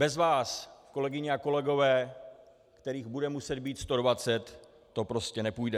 Bez vás, kolegyně a kolegové, kterých bude muset být 120, to prostě nepůjde.